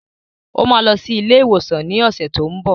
Ó máa lọ sí ilé-ìwòsàn ní ọ̀sẹ̀ tó n bọ̀.